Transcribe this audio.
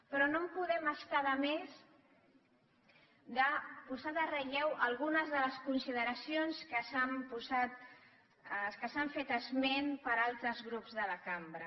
però no ens podem estar de més de posar de relleu algunes de les consideracions que han esmentat altres grups de la cambra